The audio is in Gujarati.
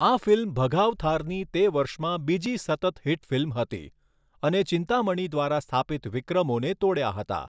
આ ફિલ્મ ભગાવથારની તે વર્ષમાં બીજી સતત હિટ ફિલ્મ હતી અને ચિંતામણી દ્વારા સ્થાપિત વિક્રમોને તોડ્યા હતા.